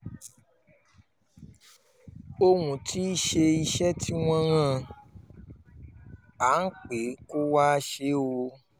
òun um ti ṣe iṣẹ́ tí wọ́n rán an pé kó wáá ṣe o um